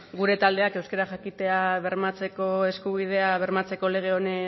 gure taldeak euskara jakitea bermatzeko eskubidea bermatzeko lege